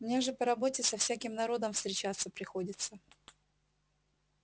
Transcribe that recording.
мне же по работе со всяким народом встречаться приходится